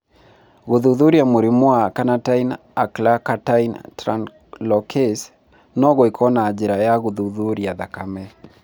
Gũthuthuria mũrimũ wa carnitine acylcarnitine translocase no gwĩkwo na njĩra ya gũthuthuria thakame.